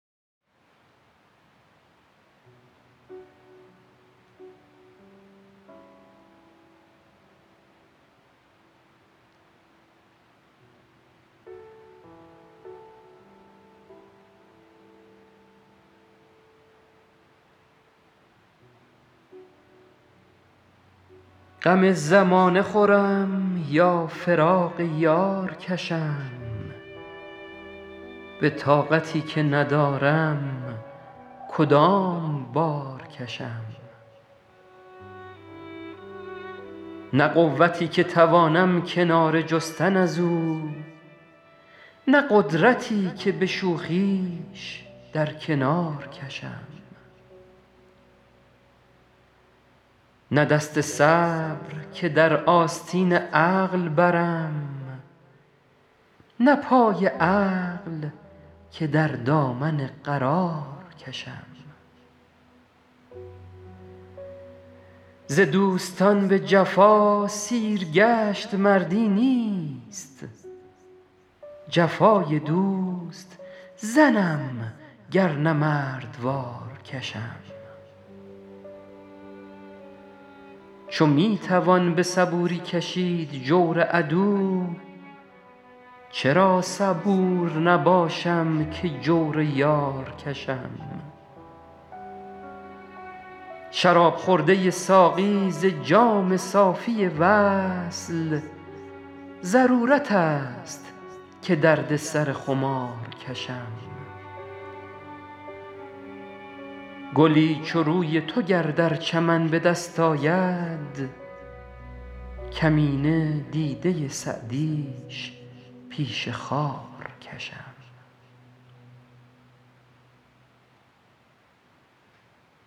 غم زمانه خورم یا فراق یار کشم به طاقتی که ندارم کدام بار کشم نه قوتی که توانم کناره جستن از او نه قدرتی که به شوخیش در کنار کشم نه دست صبر که در آستین عقل برم نه پای عقل که در دامن قرار کشم ز دوستان به جفا سیرگشت مردی نیست جفای دوست زنم گر نه مردوار کشم چو می توان به صبوری کشید جور عدو چرا صبور نباشم که جور یار کشم شراب خورده ساقی ز جام صافی وصل ضرورت است که درد سر خمار کشم گلی چو روی تو گر در چمن به دست آید کمینه دیده سعدیش پیش خار کشم